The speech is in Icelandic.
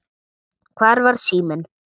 Hvar var síminn?